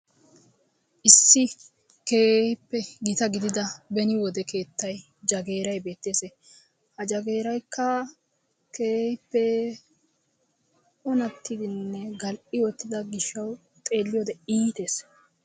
Issi keehippe gita gidida beni wode keettayi jagiiray beettes. Ha jagiiraykka keehippe onattidinne gal"i uttido gishahawu xeelliyode iites.